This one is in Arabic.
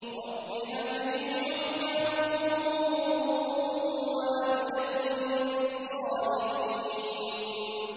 رَبِّ هَبْ لِي حُكْمًا وَأَلْحِقْنِي بِالصَّالِحِينَ